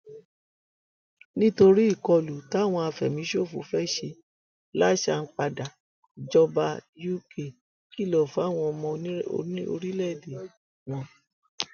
nítorí ìkọlù táwọn afẹmíṣòfò fẹẹ ṣe sápáńdà ìjọba uk kìlọ fáwọn ọmọ orílẹèdè wọn